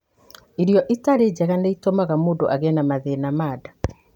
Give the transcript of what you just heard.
Irio itarĩ njega nĩ itũmaga mũndũ agĩe na mathĩna ma nda.